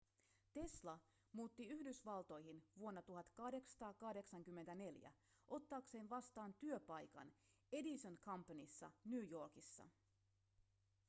tesla muutti yhdysvaltoihin vuonna 1884 ottaakseen vastaan työpaikan edison companyssa new yorkissa